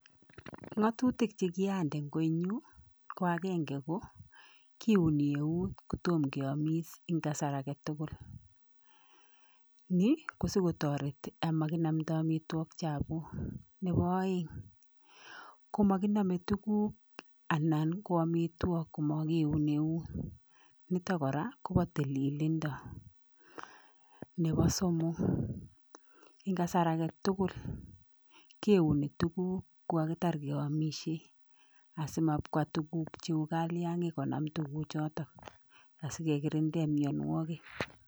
Ng'atutik che kiande eng koinyu ko agenge ko, kiuni eut kotom keamis eng kasar age tugul. Ni ko sikotoret amakinada amitwogik chapuk. Nebo aeng, ko makiname tuguk anan ko amitwog komakeun eut. Nitok kora kobo tililindo. Nebo somok, eng kasar age tugul keuni tuguk ko kagitar keamisei asimabwa tuguk che kalyang'ik konam tuguchok asigekirindee mienwogik.